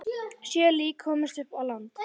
Sjö lík komust á land.